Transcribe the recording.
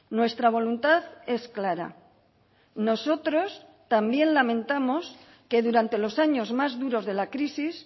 nuestra voluntad es clara nosotros también lamentamos que durante los años más duros de la crisis